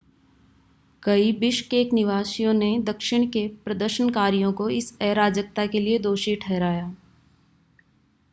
कई बिश्केक निवासियों ने दक्षिण के प्रदर्शनकारियों को इस अराजकता के लिए दोषी ठहराया